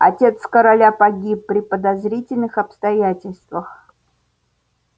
отец короля погиб при подозрительных обстоятельствах